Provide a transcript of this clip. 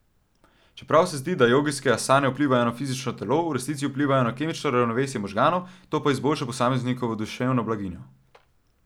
Čeprav se zdi, da jogijske asane vplivajo samo na fizično telo, v resnici vplivajo na kemično ravnovesje možganov, to pa izboljša posameznikovo duševno blaginjo.